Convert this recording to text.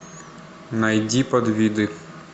найди подвиды